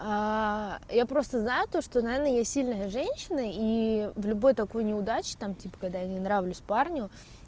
я просто за то что наверное я сильная женщина и в любой такой неудачи там типа когда не нравлюсь парню